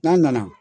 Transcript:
N'a nana